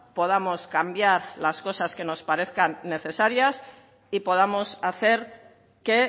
podamos cambiar las cosas que nos parezcan necesarias y podamos hacer que